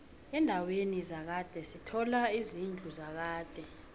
endaweni zakhade sithola izidlu zakade